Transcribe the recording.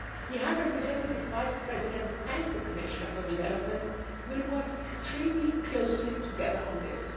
The High Representative Vice President and the Commissioner for Development will work extremely closely together on this.